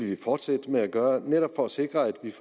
vi fortsætte med at gøre for netop at sikre at der